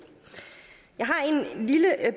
jeg